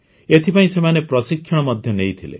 ଏଥିପାଇଁ ସେମାନେ ପ୍ରଶିକ୍ଷଣ ମଧ୍ୟ ନେଇଥିଲେ